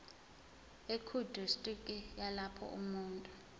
ekudistriki yalapho umuntu